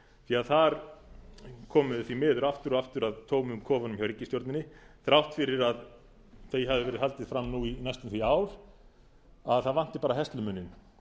því að þar komum við því miður aftur og aftur að tómum kofanum hjá ríkisstjórninni þrátt fyrir að því hafi verið haldið fram nú í næstum því ár að það vanti bara herslumuninn